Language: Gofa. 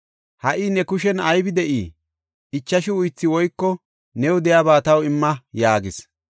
Ha77i ne kushen aybi de7ii? Ichashu uythi woyko new de7iyaba taw imma” yaagis.